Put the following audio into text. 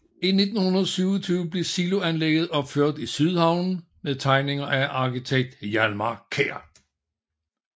I 1927 blev siloanlægget opført i Sydhavnen med tegninger af arkitekten Hjalmar Kjær